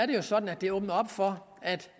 det sådan at det åbner op for at